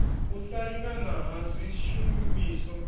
u sa lingana ha swishumiswa